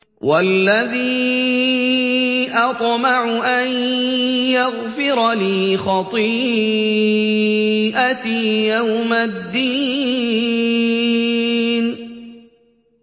وَالَّذِي أَطْمَعُ أَن يَغْفِرَ لِي خَطِيئَتِي يَوْمَ الدِّينِ